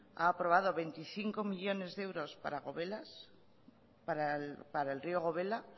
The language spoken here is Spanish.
ha aprobado veinticinco millónes de euros para el río gobela